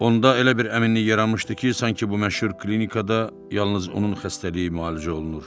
Onda elə bir əminlik yaranmışdı ki, sanki bu məşhur klinikada yalnız onun xəstəliyi müalicə olunur.